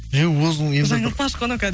жаңылтпаш қой мынау кәдімгі